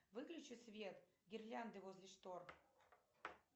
выключи свет гирлянды возле штор